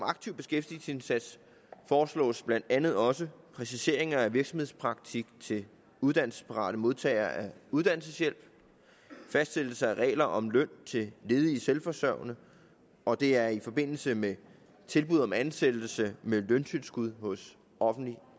aktiv beskæftigelsesindsats foreslås blandt andet også præciseringer af virksomhedspraktik til uddannelsesparate modtagere af uddannelseshjælp fastsættelse af regler om løn til ledige selvforsørgende og det er i forbindelse med tilbud om ansættelse med løntilskud hos offentlige